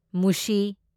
ꯃꯨꯁꯤ